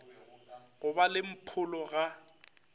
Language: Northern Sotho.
go ba le mpholo ga